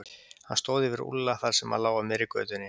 Hann stóð yfir Úlla þar sem hann lá á miðri götunni.